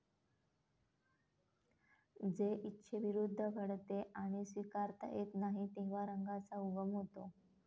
जे इच्छेविरुद्ध घडते आणि स्वीकारता येत नाही, तेव्हा रंगाचा उगम होतो.